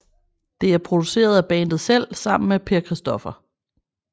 Det er produceret af bandet selv sammen med Per Chr